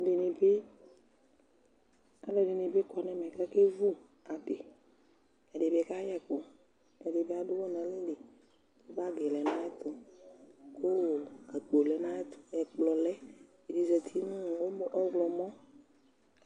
Ɛdɩnɩ bɩ, alʋɛdɩnɩ kɔ nʋ ɛmɛ kʋ akewu adɩ Ɛdɩnɩ kayɛ ɛkʋ Ɛdɩ bɩ adʋ ʋɣɔ nʋ alɛli kʋ bagɩ lɛ nʋ ayɛtʋ kʋ akpo lɛ nʋ ayɛtʋ, ɛkplɔ lɛ, ɛdɩ zati nʋ ɔmɔ ɔɣlɔmɔ